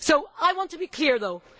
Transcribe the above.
I want to be clear, though.